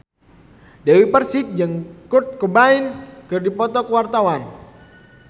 Dewi Persik jeung Kurt Cobain keur dipoto ku wartawan